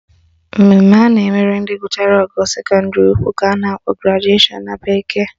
Mmemme a na-emere ndị gụchara ogo sekọndịrị ukwu ka a na-akpọ graduation na bekee